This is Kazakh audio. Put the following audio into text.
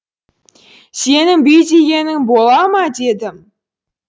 сенін бүй дегенің бола ма дедім